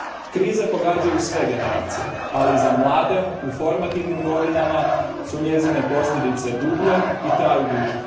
Krize pogađaju sve generacije, ali za mlade u formativnim godinama su njezine posljedice dublje i traju duže.